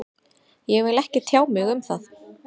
Ég vil ekki tjá mig um það